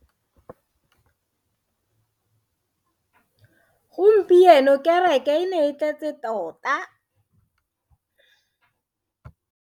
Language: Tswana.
Gompieno kereke e ne e tletse tota.